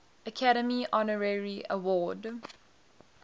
academy honorary award